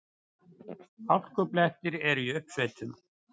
Hálkublettir eru í uppsveitum